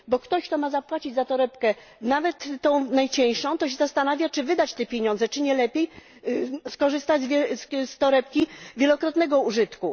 Bo ktoś, kto ma zapłacić za torebkę, nawet tę najcieńszą, zastanawia się, czy wydać te pieniądze, czy nie lepiej skorzystać z torebki wielokrotnego użytku.